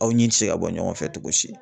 Aw ɲi ti se ka bɔ ɲɔgɔn fɛ cogo si.